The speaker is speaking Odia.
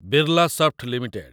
ବିର୍ଲାସଫ୍ଟ ଲିମିଟେଡ୍